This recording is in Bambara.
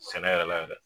Sɛnɛ yɛrɛ la yɛrɛ